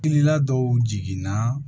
Kilila dɔw jiginna